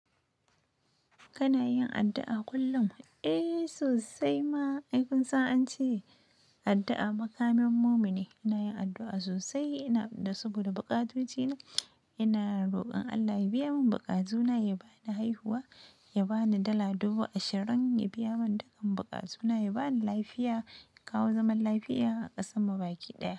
Kana yin addu'a kullum? Eh sosai ma, ai kun san an ce addu'a makamin mumini. Ina yin addu'a sosai, ina da saboda baƙatoci na. Ina rokon Allah ya biya mun baƙatu na, ya bani haihuwa, ya bani dala dubu ashirin, ya biya mun dukkan baƙatu na, ya bani lafiya, ya kawo zaman lafiya a ƙasan mu baki ɗaya.